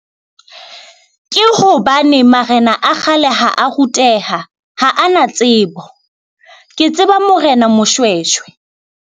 Ke hobane marena a kgale ha a ruteha, ha a na tsebo ke tseba Morena Moshoeshoe.